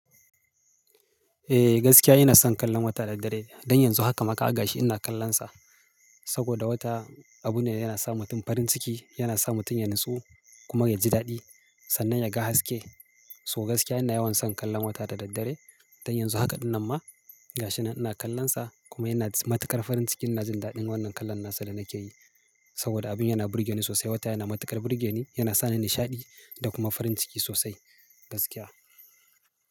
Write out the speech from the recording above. Eh gaskiya ina son kallon wata da daddare. Don yanzu haka ma ka agashi ina kallonsa. Saboda wata abu ne yana sa mutum farin ciki, yana sa mutum ya natsu kuma ya ji daɗi sannan ya ga haske. So gaskiya ina yawan son kallon wata da daddare. Don yanzu haka ɗin nan ma ga shi ina kallonsa kuma yana matuƙar farin ciki. Ina jin daɗin wannan kallon nasa da nake yi saboda abin yana burge ni sosai. Wata yana matuƙar burge ni, yana sa ni nishaɗi da kuma farin ciki sosai gaskiya.